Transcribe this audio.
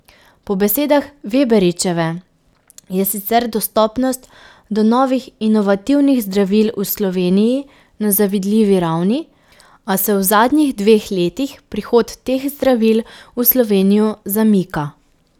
Po besedah Veberičeve je sicer dostopnost do novih inovativnih zdravil v Sloveniji na zavidljivi ravni, a se v zadnjih dveh letih prihod teh zdravil v Slovenijo zamika.